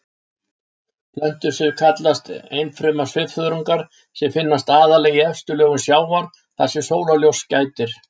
Plöntusvif kallast einfruma svifþörungar sem finnast aðallega í efstu lögum sjávar þar sem sólarljóss gætir.